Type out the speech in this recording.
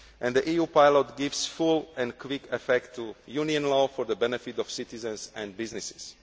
The EU Pilot gives full and quick effect to Union law for the benefit of citizens and businesses.